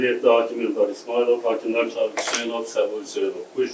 Sədrlik edir hakim İlqar İsmayılov, hakimlər Cahangir Hüseynov, Səbuhi Hüseynov.